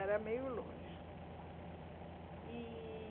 Era meio longe, eh